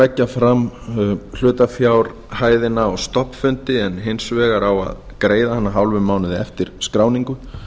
leggja fram hlutafjárhæðina á stofnfundi en hins vegar á að greiða hana hálfum mánuði eftir skráningu